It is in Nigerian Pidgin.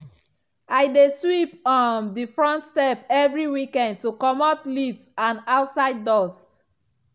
i dey sweep um the front step every weekend to comot leaves and outside dust.